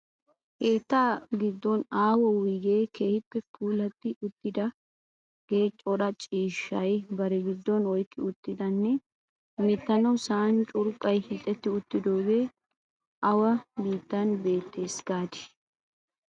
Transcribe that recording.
Keetta giddon aaho wuyigee keehippe puulatti uttidaagee cora ciishshata bari giddon oyqqi uttidanne hemettanawu sa'an curqqay hiixetti uttidoogee awa biittan beettees gaadii?